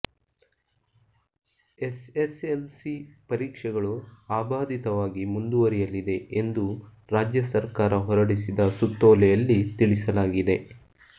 S S L C ಪರೀಕ್ಷೆಗಳು ಅಬಾಧಿತವಾಗಿ ಮುಂದುವರಿಯಲಿದೆ ಎಂದು ರಾಜ್ಯ ಸರ್ಕಾರ ಹೊರಡಿಸಿದ ಸುತ್ತೋಲೆಯಲ್ಲಿ ತಿಳಿಸಲಾಗಿದೆ